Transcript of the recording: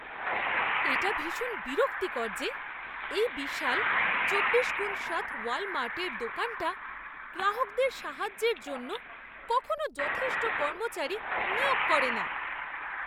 এটা ভীষণ বিরক্তিকর যে, এই বিশাল চব্বিশ গুণ সাত ওয়ালমার্টের দোকানটা গ্রাহকদের সাহায্যের জন্য কখনো যথেষ্ট কর্মচারী নিয়োগ করে না।